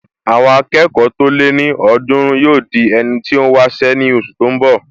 Àwọn akẹ́kọ̀ọ́ tó lé ní ọ̀ọ́dúrún yóò di ẹni tó n wá iṣẹ́ ní oṣù tó n bọ̀